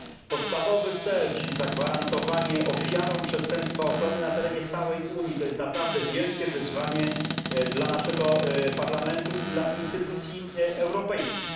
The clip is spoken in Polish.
Podstawowy cel, czyli zagwarantowanie ofiarom przestępstwa ochrony na terenie całej Unii, to naprawdę wielkie wyzwanie dla naszego Parlamentu i instytucji europejskich.